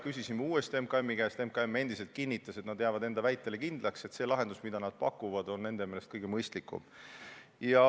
Küsisime uuesti MKM-i käest järele ja sealt kinnitati taas, et nad jäävad enda väitele kindlaks, et see lahendus, mida nad pakuvad, on nende meelest kõige mõistlikum.